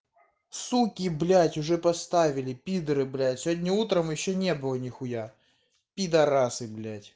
суки блять уже поставили пидары блять сегодня утром ещё не было нихуя пидорасы блять